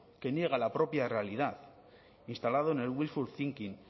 que niega la propia realidad instalado en el wishful thinking